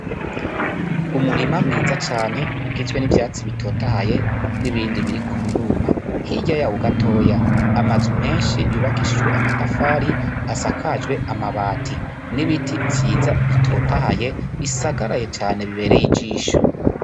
Umurima mwiza cane ugizwe n' ivyatsi bitotahaye n' ibindi biriko biruma hirya yaho gatoya amazu menshi yubakishijwe amatafari asakajwe amabati n' ibiti vyiza bitotahaye bisagaraye cane bibereye ijisho.